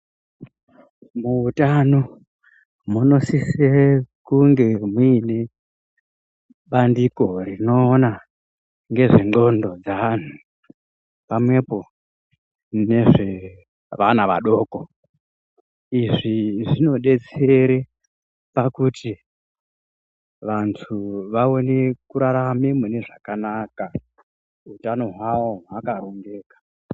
Muutano munosise kunge muine bandiko rinoona ngezvendxondo dzaanhu pamwepo nezvevana vadoko. Izvi zvinodetsere pakuti vantu vaone kurarame mune zvakanaka, utano hwawo hwakarongeka.